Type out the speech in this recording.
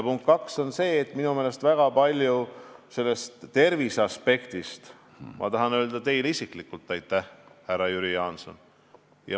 Punkt kaks on see, et terviseaspekti asjus tahan ma öelda teile isiklikult aitäh, härra Jüri Jaanson.